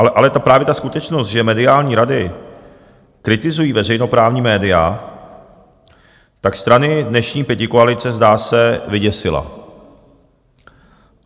Ale právě ta skutečnost, že mediální rady kritizují veřejnoprávní média, tak strany dnešní pětikoalice, zdá se, vyděsila.